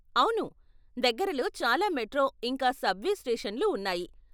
అవును, దగ్గరలో చాలా మెట్రో ఇంకా సబ్వే స్టేషన్లు ఉన్నాయి.